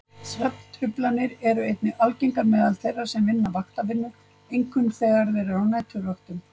Svefntruflanir eru einnig algengar meðal þeirra sem vinna vaktavinnu, einkum þegar þeir eru á næturvöktum.